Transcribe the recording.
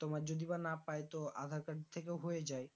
তোমার যদি বা না পাই তো আধার card থেকেও হয়ে যায়